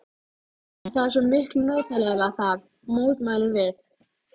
En það er svo miklu notalegra þar, mótmælum við.